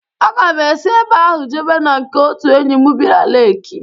Aga m esi ebe ahụ jebe na nke otu enyi m bi na Leki.